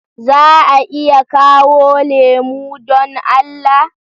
Za a iya kawo lemo don Allah?